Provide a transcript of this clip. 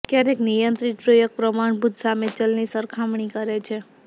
ક્યારેક નિયંત્રિત પ્રયોગ પ્રમાણભૂત સામે ચલની સરખામણી કરે છે